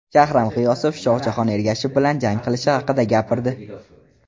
Shahram G‘iyosov Shohjahon Ergashev bilan jang qilishi haqida gapirdi .